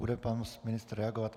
Bude pan ministr reagovat?